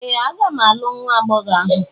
Ee! M ga-alụ nwa agbọghọ ahụ